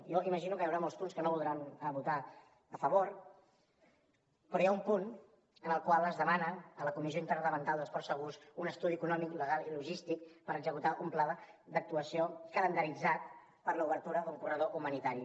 jo m’imagino que hi haurà molts punts que no voldran votar a favor però hi ha un punt en el qual es demana a la comissió interdepartamental de ports segurs un estudi econòmic legal i logístic per executar un pla d’actuació calendaritzat per a l’obertura d’un corredor humanitari